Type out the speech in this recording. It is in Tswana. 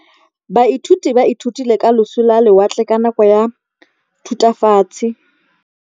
Baithuti ba ithutile ka losi lwa lewatle ka nako ya Thutafatshe.